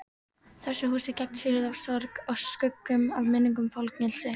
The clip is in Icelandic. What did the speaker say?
Þessu húsi gegnsýrðu af sorg, af skuggum og minningum- fangelsi.